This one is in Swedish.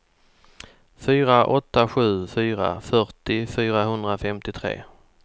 fyra åtta sju fyra fyrtio fyrahundrafemtiotre